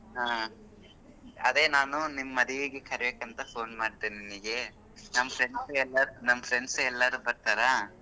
ಹ್ಮ್ ಅದೆ ನಾನು ನಿಮ್ ಮದ್ವಿಗೆ ಕರಿಯಕ ಅಂತ phone ಮಾಡ್ದೆ ನಿನಗೆ ನಮ್ friends ಎಲ್ಲರೂ ನಮ್ friends ಎಲ್ಲರೂ ಬರ್ತರಾ.